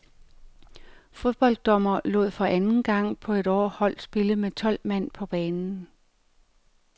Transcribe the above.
Fodbolddommer lod for anden gang på et år hold spille med tolv mand på banen.